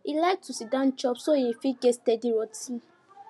e like to siddon chop so e fit get steady routine